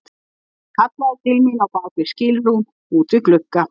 Hann kallaði til mín á bak við skilrúm út við glugga.